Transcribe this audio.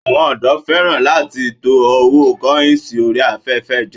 Àwọn òdò fẹ́ràn láti máa to owó kọ́ìnsì orí afẹ́fẹ́ jọ